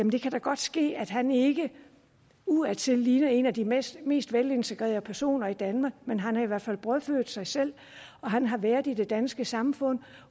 det kan da godt ske at han ikke udadtil ligner en af de mest mest velintegrerede personer i danmark men han har i hvert fald brødfødt sig selv og han har været i det danske samfund